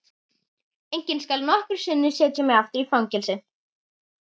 Enginn skal nokkru sinni setja mig aftur í fangelsi.